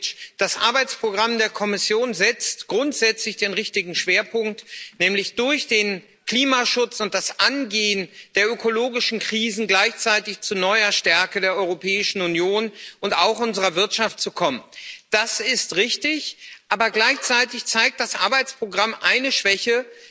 Frau Präsidentin, Herr Vizepräsident Šefčovič! Das Arbeitsprogramm der Kommission setzt grundsätzlich den richtigen Schwerpunkt, nämlich durch den Klimaschutz und das Angehen der ökologischen Krisen gleichzeitig zu neuer Stärke der Europäischen Union und auch unserer Wirtschaft zu kommen. Das ist richtig. Aber gleichzeitig zeigt das Arbeitsprogramm eine Schwäche.